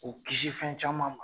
K'u kisi fɛn caman ma.